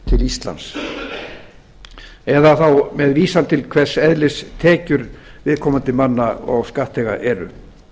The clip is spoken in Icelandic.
til íslands eða þá með vísan til hvers eðlis tekjur viðkomandi og skattþega eru